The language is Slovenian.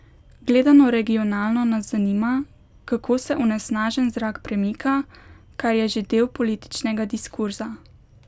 Gledano regionalno nas zanima, kako se onesnažen zrak premika, kar je že del političnega diskurza.